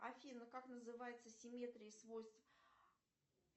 афина как называется симметрия свойств